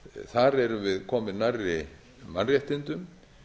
þar erum við komin nærri mannréttindum